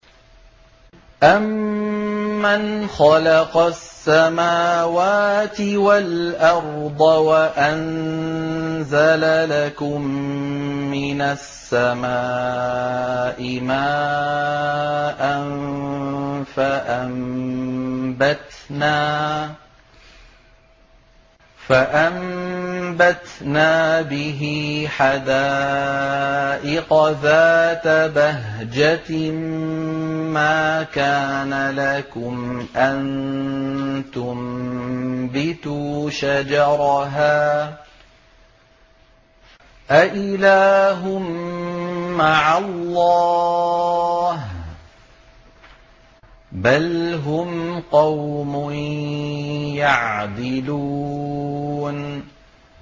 أَمَّنْ خَلَقَ السَّمَاوَاتِ وَالْأَرْضَ وَأَنزَلَ لَكُم مِّنَ السَّمَاءِ مَاءً فَأَنبَتْنَا بِهِ حَدَائِقَ ذَاتَ بَهْجَةٍ مَّا كَانَ لَكُمْ أَن تُنبِتُوا شَجَرَهَا ۗ أَإِلَٰهٌ مَّعَ اللَّهِ ۚ بَلْ هُمْ قَوْمٌ يَعْدِلُونَ